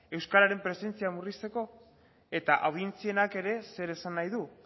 euskaren presentzia murrizteko eta audientzienak ere zer esan nahi du